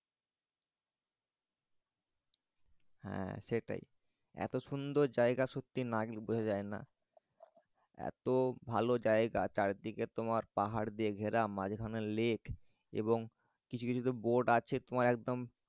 হ্যাঁ সেটাই। এত সুন্দর জায়গা না গেলে বোঝা যায়না। এত ভালো জায়গা চারদিকে তোমার পাহাড় দিয়ে ঘেরা মাঝখানে লেক এবং কিছু কিছু তো boat আছে তোমার একদম